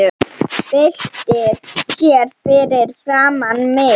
Byltir sér fyrir framan mig.